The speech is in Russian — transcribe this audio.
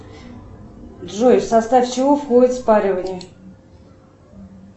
джой в состав чего входит спаривание